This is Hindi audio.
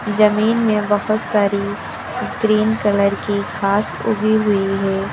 जमीन में बहोत सारी ग्रीन कलर की घास उगी हुई है।